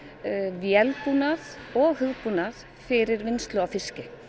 vélbúnað og hugbúnað fyrir vinnslu á fiski